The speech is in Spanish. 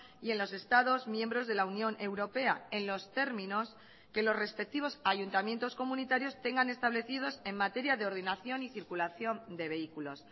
y en los estados miembros de la unión europea en los términos que los respectivos ayuntamientos comunitarios tengan establecidos en materia de ordenación y circulación de vehículos